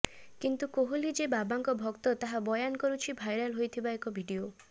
କିନ୍ତୁ କୋହଲୀ ଯେ ବାବାଙ୍କ ଭକ୍ତ ତାହା ବୟାନ୍ କରୁଛି ଭାଇରାଲ୍ ହୋଇଥିବା ଏକ ଭିଡିଓ